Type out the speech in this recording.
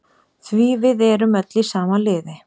Því við erum öll í sama liði.